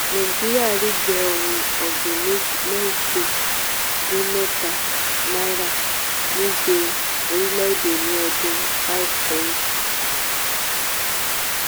nàìjíríà rígbẹ́ ohun ọ̀gbìn mẹ́jẹ dín mẹ́ta náírà nígbé orílẹ̀ èdè ní ọdún 5 sẹ́yìn